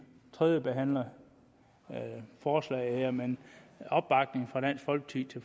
tredjebehandler forslaget her men opbakning fra dansk folkeparti